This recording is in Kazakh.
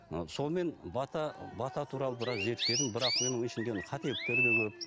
мына сонымен бата бата туралы біраз зерттедім бірақ менің қателіктер де көп